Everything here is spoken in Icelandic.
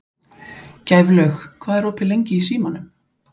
Gæflaug, hvað er opið lengi í Símanum?